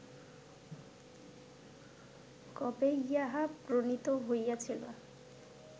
কবে ইহা প্রণীত হইয়াছিল